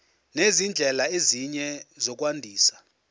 nezindlela ezinye zokwandisa